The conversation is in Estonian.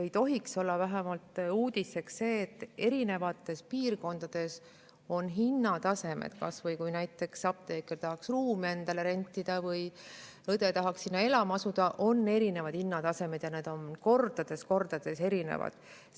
Ei tohiks olla uudiseks, et eri piirkondades on erinevad hinnatasemed – kui näiteks apteeker tahaks ruume rentida või õde tahaks sinna elama asuda – ja need erinevad kordades.